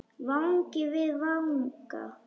Vangi við vanga.